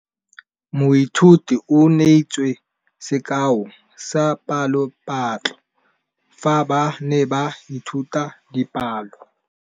Moithuti o neetse sekaô sa palophatlo fa ba ne ba ithuta dipalo.